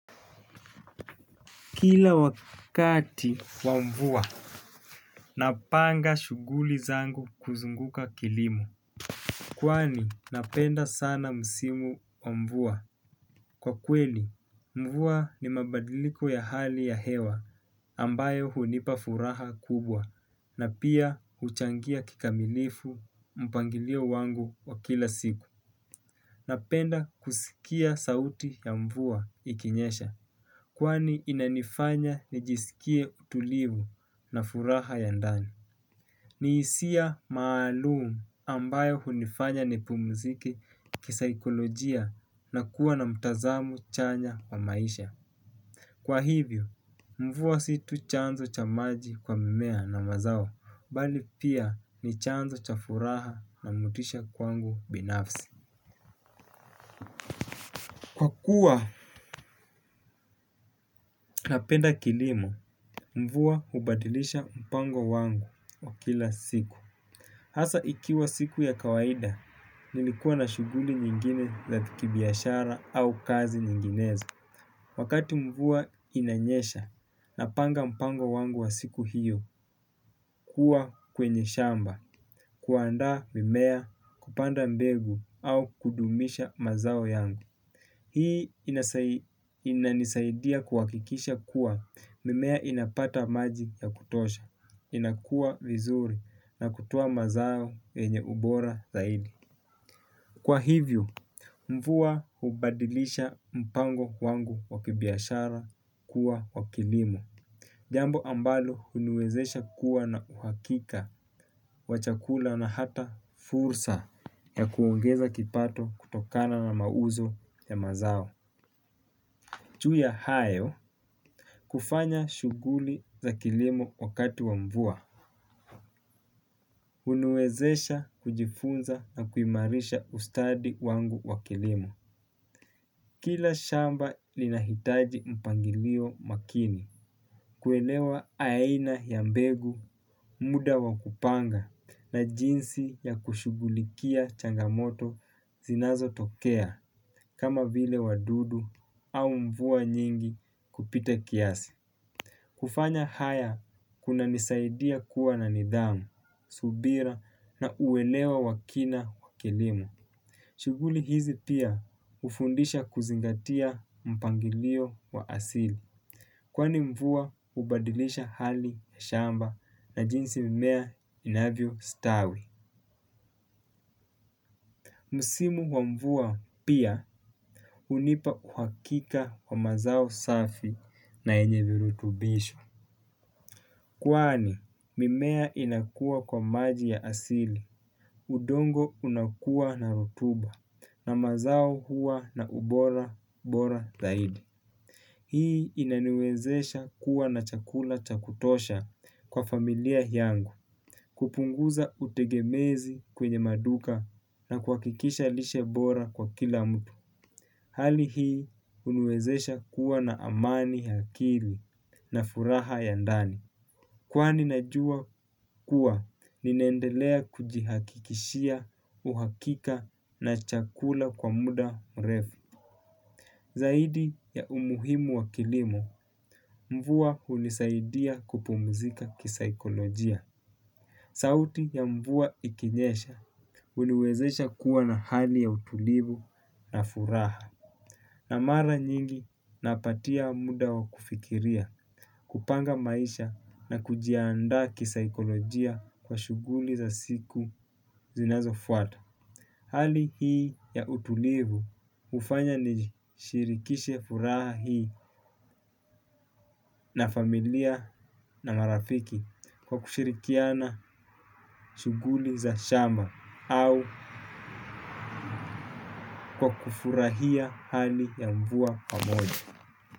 Kila wakati wa mvua, napanga shuguli zangu kuzunguka kilimo. Kwani napenda sana msimu wa mvua. Kwa kweli, mvua ni mabadiliko ya hali ya hewa ambayo hunipa furaha kubwa. Na pia huchangia kikamilifu mpangilio wangu wa kila siku. Napenda kusikia sauti ya mvua ikinyesha. Kwani inanifanya nijisikie utulivu na furaha ya ndani. Ni hisia maalumu ambayo hunifanya nipumzike kisaikolojia na kuwa na mtazamu chanya wa maisha. Kwa hivyo mvua si tu chanzo cha maji kwa mimea na mazao bali pia ni chanzo cha furaha na motisha kwangu binafsi kwa kuwa napenda kilimo. Mvua hubadilisha mpango wangu wa kila siku. Hasa ikiwa siku ya kawaida nilikuwa na shuguli nyingine za kibiashara au kazi nyinginezo. Wakati mvua inanyesha napanga mpango wangu wa siku hiyo. Kuwa kwenye shamba kuandaa mimea kupanda mbegu au kudumisha mazao yangu. Hii inanisaidia kuhakikisha kuwa mimea inapata maji ya kutosha. Inakua vizuri na kutia mazao yenye ubora zaidi. Kwa hivyo mvua hubadilisha mpango kwangu wa kibiashara kuwa wa kilimo. Jambo ambalo huniwezesha kuwa na uhakika wa chakula na hata fursa ya kuongeza kipato kutokana na mauzo ya mazao. Juu ya hayo kufanya shuguli za kilimo wakati wa mvua huniwezesha kujifunza na kuimarisha ustadi wangu wa kilimo. Kila shamba linahitaji mpangilio makini. Kuelewa aina ya mbegu muda wa kupanga na jinsi ya kushugulikia changamoto zinazo tokea. Kama vile wadudu au mvua nyingi kupita kiasi. Kufanya haya kunanisaidia kuwa na nidhamu, subira na uwelewa wa kina wa kilimo. Shuguli hizi pia hufundisha kuzingatia mpangilio wa asili. Kwani mvua hubadilisha hali ya shamba na jinsi mimea inavyo stawi. Msimu wa mvua pia hunipa uhakika wa mazao safi na yenye virutubisho. Kwani mimea inakuwa kwa maji ya asili, udongo unakuwa na rutuba na mazao huwa na ubora, bora zaidi. Hii inaniwezesha kuwa na chakula cha kutosha kwa familia yangu, kupunguza utegemezi kwenye maduka na kuhakikisha lishe bora kwa kila mtu. Hali hii huniwezesha kuwa na amani ya akili na furaha ya ndani. Kwani najua kuwa, ninaendelea kujihakikishia uhakika na chakula kwa muda mrefu. Zaidi ya umuhimu wa kilimo, mvua hunisaidia kupumizika kisikolojia. Sauti ya mvua ikinyesha, huniwezesha kuwa na hali ya utulivu na furaha. Na mara nyingi napatia muda wa kufikiria, kupanga maisha na kujiandaa kisaikolojia kwa shuguli za siku zinazofuata. Hali hii ya utulivu hufanya nishirikishe furaha hii na familia na marafiki kwa kushirikiana shuguli za shama au kwa kufurahia hali ya mvua pamoja.